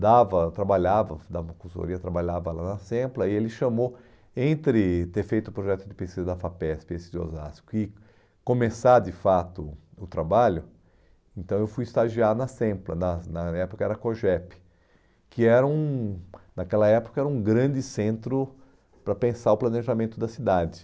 dava, trabalhava, dava uma consultoria, trabalhava lá na SEMPLA, e ele chamou, entre ter feito o projeto de pesquisa da FAPESP, esse de Osasco, e começar de fato o trabalho, então eu fui estagiar na SEMPLA, na na época era a COGEP, que era um, naquela época era um grande centro para pensar o planejamento da cidade.